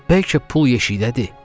Bəlkə pul yeşikdədir?